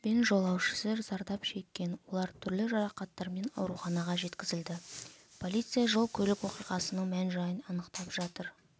бен жолаушысы зардап шеккен олар түрлі жарақаттармен ауруханаға жеткізілді полиция жол-көлік оқиғасының мән-жайын анықтап жатыр